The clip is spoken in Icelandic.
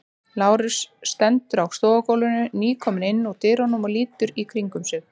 Lárus stendur á stofugólfinu, nýkominn inn úr dyrunum og lítur í kringum sig.